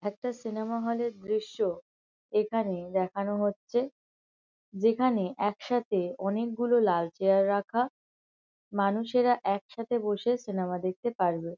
একটা cinema hall -এর দৃশ্য। এখানে দেখানো হচ্ছে। যেখানে একসাথে অনেকগুলো লাল চেয়ার রাখা। মানুষেরা একসাথে বসে সিনেমা দেখতে পারবে।